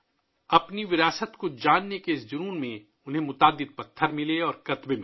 اپنے ورثے کو جاننے کے شوق میں انہیں بہت سے پتھر اور نوشتہ جات ملے